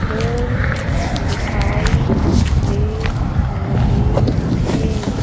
फूल दिखाई दे रहे हैं।